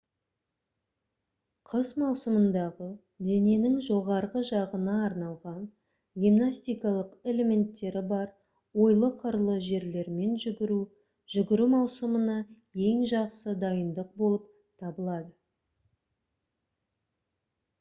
қыс маусымындағы дененің жоғарғы жағына арналған гимнастикалық элементтері бар ойлы-қырлы жерлермен жүгіру жүгіру маусымына ең жақсы дайындық болып табылады